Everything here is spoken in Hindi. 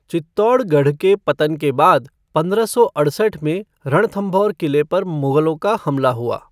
चित्तौड़गढ़ के पतन के बाद पंद्रह सौ अड़सठ में रणथंभौर किले पर मुगलों का हमला हुआ।